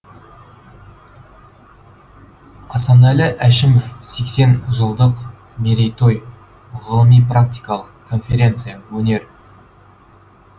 асанәлі әшімов секен жылдық мерейтой ғылыми практикалық конференция өнер